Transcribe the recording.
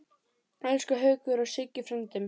Elsku Haukur og Siggi frændi.